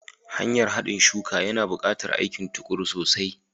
Hanyar haɗin suka, yana buƙatar aikin tuƙuru sosai.